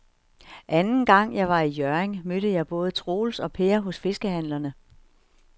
Anden gang jeg var i Hjørring, mødte jeg både Troels og Per hos fiskehandlerne.